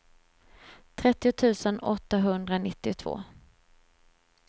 trettio tusen åttahundranittiotvå